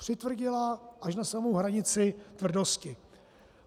Přitvrdila až na samu hranici tvrdosti.